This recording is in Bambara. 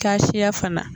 Ka siya fana